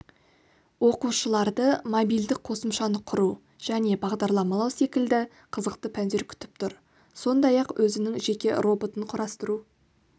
оқушыларды мобильдік қосымшаны құру және бағдарламалау секілді қызықты пәндер күтіп тұр сондай-ақ өзінің жеке роботын құрастыру